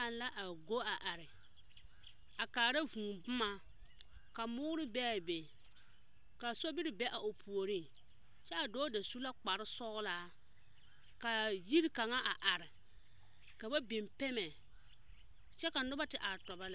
Dͻͻ kaŋ la a go a are a kaara vũũ boma. Ka mõõre be a be, ka sobiri be a o puoriŋ. Kyԑ a dͻͻ da su la kpare sͻgelaa. Kaa yiri kaŋa a are, ka ba biŋ pԑmԑ kyԑ ka nob ate are tͻbͻ lԑ.